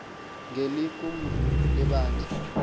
ngeli qumrhu lebandla